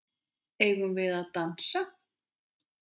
Eigum við að dansa?